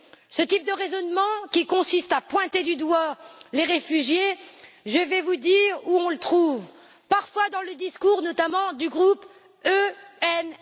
Ce type de raisonnement, qui consiste à pointer du doigt les réfugiés, je vais vous dire où on le trouve parfois dans les discours, notamment du groupe ENF!